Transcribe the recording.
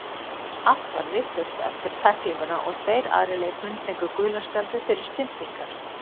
Allt varð vitlaust eftir tæklinguna og tveir aðrir leikmenn fengu gula spjaldið fyrir stympingar.